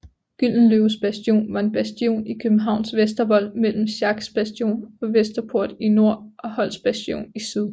Gyldenløves Bastion var en bastion i Københavns Vestervold mellem Schacks Bastion og Vesterport i nord og Holcks Bastion i syd